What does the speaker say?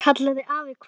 kallaði afi hvasst.